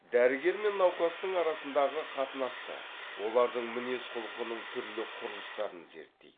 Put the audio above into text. дәрігер мен науқастың арасындағы қатынасты олардың мінез құлқының түрлі құрылыстарын зерттейді